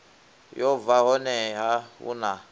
yo bva honeha hu na